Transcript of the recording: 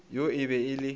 yo e be e le